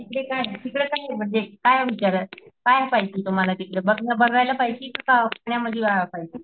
तिकडे काय तिकडे काये म्हणजे काय काय पाहिजे तुम्हाला तिकडे बघायला पाहिजे कि पाहिजे.